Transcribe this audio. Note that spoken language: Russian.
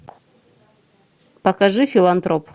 покажи филантроп